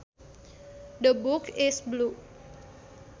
The book is blue